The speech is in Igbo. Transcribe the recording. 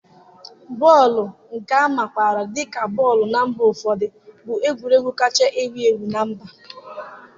bọọlụ, nke a makwaara dị ka bọọlụ na mba ụfọdụ, bụ egwuregwu kacha ewu ewu na mba